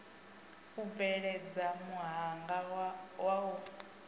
u bveledza muhanga wa u